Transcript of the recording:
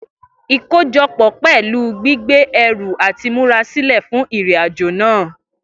Ikojọpọ pẹlu gbigbe ẹru ati murasilẹ fun irin-ajo naa.